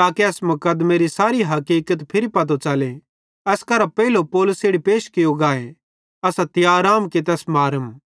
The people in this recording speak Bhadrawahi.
ताके एस मुकदमेरी सारी हकिकत फिरी पतो च़ले एस करां पेइले पौलुस इड़ी पैश कियो गाए असां तियार आम कि तैस मारम